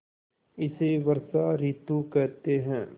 इसे वर्षा ॠतु कहते हैं